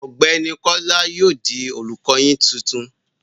Ọ̀gbẹ́ni Kọ́lá yóò di olùkọ yín titun.